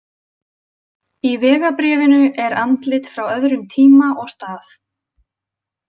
Í vegabréfinu er andlit frá öðrum tíma og stað.